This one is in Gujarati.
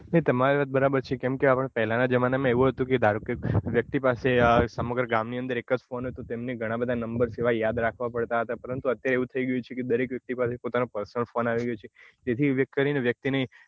નઈ તમારી વાત બરાબર છે કેમ કે આપડે પેલાં ના જમાના માં એવું હતું કે ધારોકે વ્યક્તિ પાસે સમગ્ર ગામ ની અંદર એક જ ફોન તો તેમની ઘણા બધા number યાદ રાખવા પડતા હતા પરંતુ અત્યારે એવું થઇ ગયું છે દરેક વ્યક્તિ પાસે પોતાનો personal ફોન આવી ગયો છે તે થી વ્યક્તિને